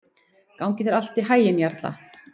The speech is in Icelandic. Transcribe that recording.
Gangi þér allt í haginn, Jarla.